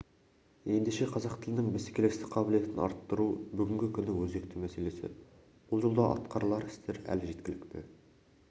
ендеше қазақ тілінің бәсекелестік қабілетін арттыру бүгінгі күннің өзекті мәселесі бұл жолда атқарылар істер әлі жеткілікті